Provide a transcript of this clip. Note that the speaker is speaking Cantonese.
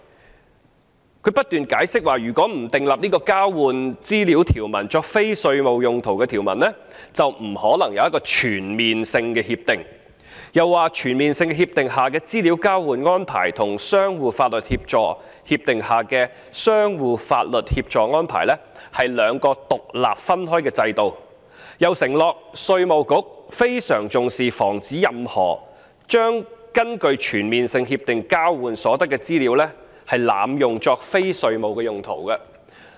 政府當局不斷解釋，如果不訂立這項交換資料作非稅務用途的條文，便不可能有一項全面性協定，又指全面性協定下的資料交換安排與相互法律協助協定下的相互法律協助安排，是兩個獨立分開的制度，又承諾稅務局非常重視防止任何濫用根據全面性協定交換所得的資料作非稅務用途的情況。